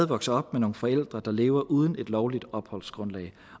vokse op med nogle forældre der lever uden et lovligt opholdsgrundlag